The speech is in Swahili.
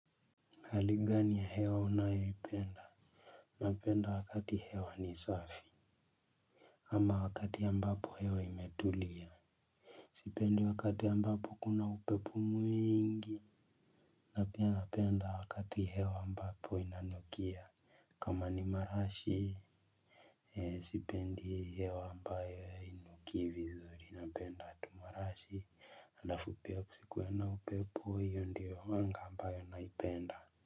Hali gani ya hewa unayo ipenda napenda wakati hewa ni safi ama wakati ambapo hewa imetulia sipendi wakati ambapo kuna upepo mwingi na pia napenda wakati hewa ambapo inanukia kama ni marashi. Sipendi hewa ambayo hainuki vizuri napenda tu marashi. Alafu pia kusikuwe na upepo hiyo ndiyo anga ambayo naipenda.